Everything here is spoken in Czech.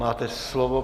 Máte slovo.